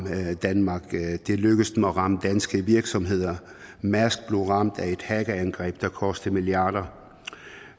danmark det er lykkedes dem at ramme danske virksomheder mærsk blev ramt af et hackerangreb der kostede milliarder